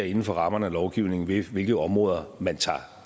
inden for rammerne af lovgivningen definerer hvilke områder man tager